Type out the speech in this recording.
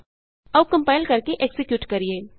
001049 001048 ਆਉ ਕੰਪਾਇਲ ਕਰਕੇ ਐਕਜ਼ੀਕਿਯੂਟ ਕਰੀਏ